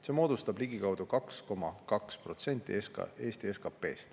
See moodustab ligikaudu 2,2% Eesti SKP-st.